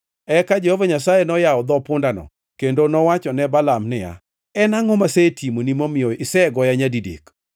Eka Jehova Nyasaye noyawo dho pundano, kendo nowacho ne Balaam niya, “En angʼo masetimoni momiyo isegoya nyadidek?”